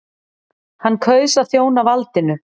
Hann kaus að þjóna valdinu.